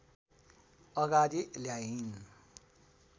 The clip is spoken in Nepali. अगाडि ल्याइन्